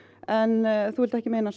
en þú vilt ekki meina